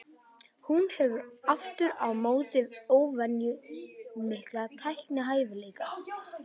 Hún hefur aftur á móti óvenju mikla teiknihæfileika.